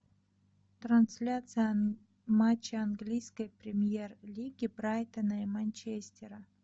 трансляция матча английской премьер лиги брайтона и манчестера